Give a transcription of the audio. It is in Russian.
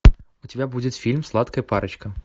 у тебя будет фильм сладкая парочка